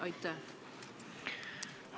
Aitäh!